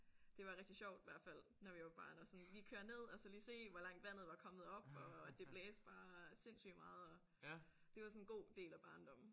Det var rigtig sjovt hvert fald når vi var barn og sådan lige køre ned og så lige se hvor langt vandet var kommet op og at det blæste bare sindssygt meget og det var sådan god del af barndommen